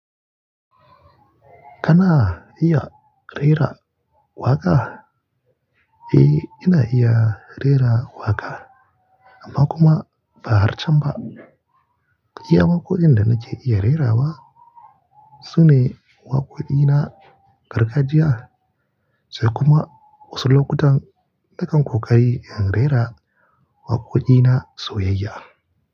Kana iya rera waƙa? Eh, ina iya rera waƙa amma kuma ba har can ba. Iya waƙoƙin da nake iya rerawa sune waƙoƙi na gargajiya sai kuma wasu lokutan nakan ƙoƙari in rera waƙoƙi na soyayya.